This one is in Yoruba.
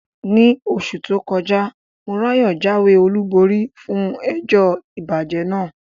Ní oṣù tó kọjá, Morayo jáwé olúborí fún ẹjọ́ ìbàjẹ́ náà.